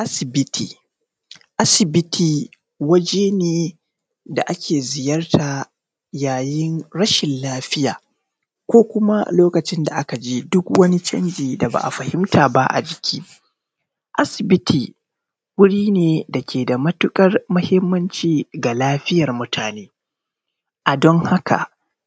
Asibiti. Asibiti waje ne da ake ziyarta yayin rashin lafiya ko kuma lokacin da aka ji duk wani canji da ba a fahimta ba a jiki. Asibiti wuri ne da ke da matuƙar muhimmanci ga laiiyar mutane. A don haka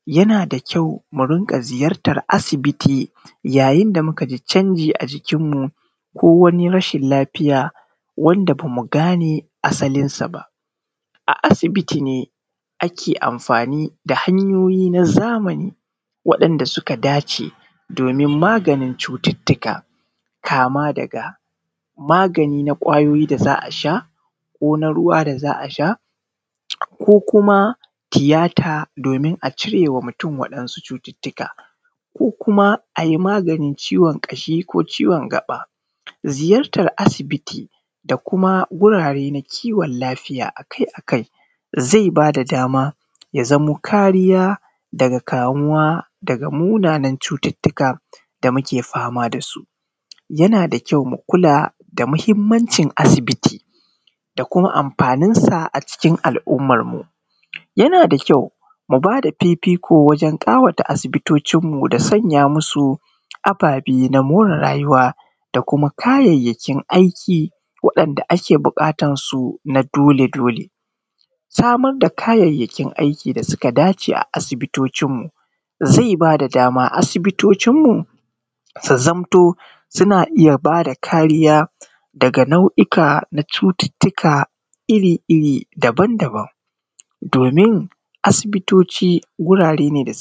yana da kyau mu ringa ziyarta asibiti yayin da muka ji canji a jikinmu ko wani rashin lafiya wanda ba mu gane asalinsa ba. A asibiti ne ake amfani da hanyoyi na zamani waɗanda suka da ce domin maganin cututuka, kama daga magani na ƙwayoyi za a sha, ko na ruwa za a sha, ko kuma tiyata domin a cire wa mutum waɗansu cututuka, ko kuma a yi maganin ciwon ƙashi ko ciwon gaɓa. Ziyartar asibiti da kuma wurare na kiwon lafiya akai akai zai ba da dama ya zamo kariya daga kamuwa daga munanan cututuka da muke fama da su. Yana da kyau mu kula da muhimmancin asibiti da kuma amfaninsa a cikin al'ummarmu. Yana da kyau mu bada fifiko wajan ƙawata asibitocin mu da sanya masu ababe na more rayuwa, da kuma kayayyakin aiki waɗanda ake buƙatan su na dole dole. Samar da kayayyakin aiki da suka dace a asibitocin mu zai ba da dama asibitocin mu su zamto suna iya ba da kariya daga nau’ika na cututuka iri iri, daban daban, domin asibitoci wurare ne suke.